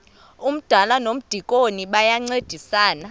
umdala nomdikoni bayancedisana